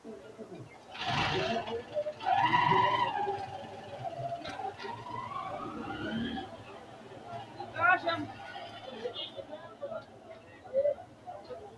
Togoo xagga bisinketa dhibba gargadhate wolqa ledatenni dhibbu amadanonke ikki gede assitannonkereeti Togoo xagga bisinketa dhibba gargadhate wolqa ledatenni dhibbu.